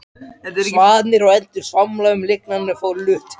Svanir og endur svamla um lygnan flötinn.